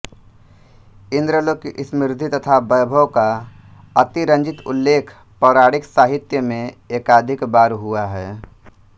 इंद्रलोक की समृद्धि तथा वैभव का अतिरंजित उल्लेख पौराणिक साहित्य में एकाधिक बार हुआ है